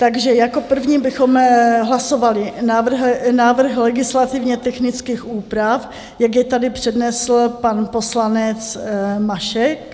Takže jako první bychom hlasovali návrh legislativně technických úprav, jak je tady přednesl pan poslanec Mašek.